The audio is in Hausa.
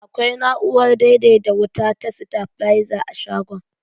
Akwai na'urar daidaita wuta ta sitabilaiza a shagon.